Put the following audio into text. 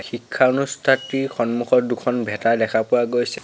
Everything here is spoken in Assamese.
শিক্ষা অনুষ্ঠাটিৰ সন্মুখত দুখন ভেটা দেখা পোৱা গৈছে।